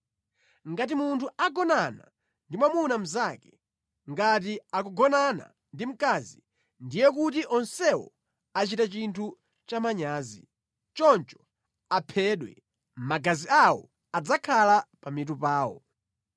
“ ‘Ngati munthu agonana ndi mwamuna mnzake ngati akugonana ndi mkazi, ndiye kuti onsewo achita chinthu cha manyazi. Choncho aphedwe. Magazi awo adzakhala pa mitu pawo.